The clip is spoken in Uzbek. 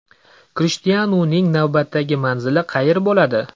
Krishtianuning navbatdagi manzili qayer bo‘ladi?